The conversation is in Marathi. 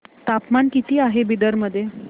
तापमान किती आहे बिदर मध्ये